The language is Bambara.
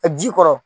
Ka ji kɔrɔ